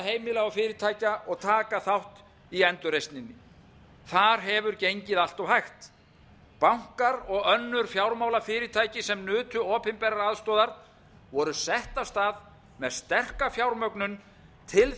skuldavandheimila og fyrirtækja og taka þátt í endurreisninni þar hefur gengið allt hægt bankar og önnur fjármálafyrirtæki sem nutu opinberrar aðstoðar voru sett af stað með sterka fjármögnun til